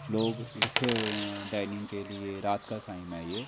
लोग इकट्ठे हुए हैं डाइनिंग के लिए रात का साइम है ये।